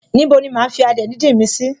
Ní bo ni máa fi adìẹ díndín mi sì?